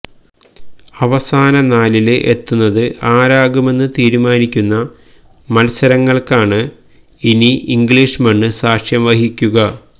അവസാന നാലില് എത്തുന്നത് ആരാകുമെന്ന് തീരുമാനിക്കുന്ന മത്സരങ്ങള്ക്കാണ് ഇനി ഇംഗ്ലീഷ് മണ്ണ് സാക്ഷ്യം വഹിക്കുക